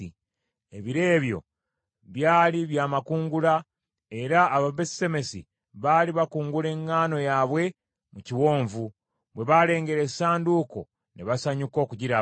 Ebiro ebyo byali bya makungula era Ababesusemesi baali bakungula eŋŋaano yaabwe mu kiwonvu. Bwe balengera essanduuko ne basanyuka okugiraba.